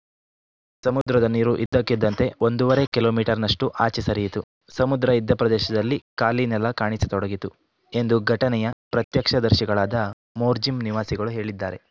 ಸಮುದ್ರದ ನೀರು ಇದ್ದಕ್ಕಿದ್ದಂತೇ ಒಂದೂವರೆ ಕಿಲೋಮೀಟರ್‌ನಷ್ಟುಆಚೆ ಸರಿಯಿತು ಸಮುದ್ರ ಇದ್ದ ಪ್ರದೇಶದಲ್ಲಿ ಖಾಲಿ ನೆಲ ಕಾಣಿಸತೊಡಗಿತು ಎಂದು ಘಟನೆಯ ಪ್ರತ್ಯಕ್ಷದರ್ಶಿಗಳಾದ ಮೋರ್ಜಿಂ ನಿವಾಸಿಗಳು ಹೇಳಿದ್ದಾರೆ